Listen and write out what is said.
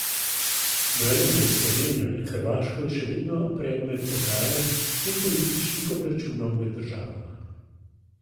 Meja med Slovenijo in Hrvaško je še vedno predmet pogajanj in političnih obračunov med državama.